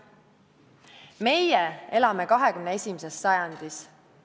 Meie elame 21. sajandis.